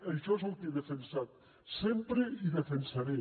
això és el que he defensat sempre i defensaré